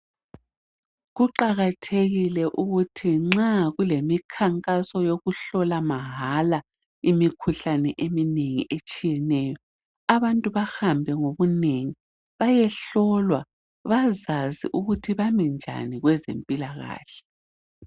Kuqakathekile ukuthi nxa kulemikhankaso yokuhlola mahala imikhuhlane eminengi etshiyeneyo, abantu bahambe ngobunengi bayehlolwa, bazazi ukuthi bami njani kwezempilakahle.